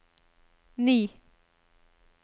ni